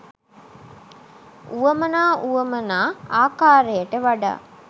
වුවමනා වුවමනා ආකාරයට වඩා